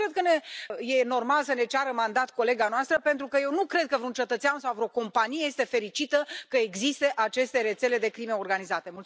Nu cred că este normal să ne ceară mandat colega noastră, pentru că eu nu cred că vreun cetățean sau vreo companie este fericită că există aceste rețele de crimă organizată.